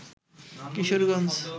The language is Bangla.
কিশোরগঞ্জ